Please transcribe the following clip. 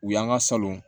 U y'an ka salon